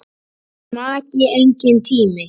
Maki: Enginn tími.